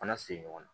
Fana sigi ɲɔgɔn na